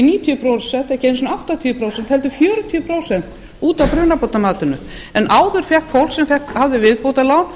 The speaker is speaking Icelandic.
níutíu prósent ekki einu sinni áttatíu prósent heldur fjörutíu prósent út af brunabótamatinu en áður fékk fólk sem hafði viðbótarlán